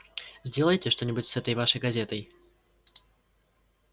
сделайте что-нибудь с этой вашей газетой